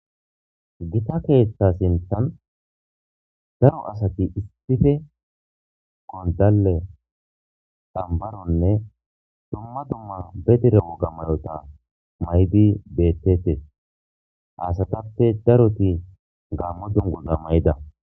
Gita keeththa sinthan daro asati issife gondalle dambaronne dumma dumma be dire woga mayota maybi bettetes haasatappe daroti gammo dungu gammayida